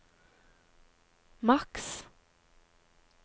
maks